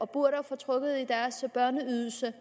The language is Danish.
burde få trukket i deres børneydelse